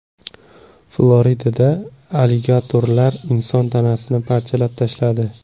Floridada aligatorlar inson tanasini parchalab tashladi.